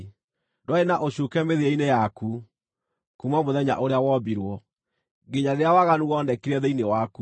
Ndwarĩ na ũcuuke mĩthiĩre-inĩ yaku, kuuma mũthenya ũrĩa wombirwo, nginya rĩrĩa waganu wonekire thĩinĩ waku.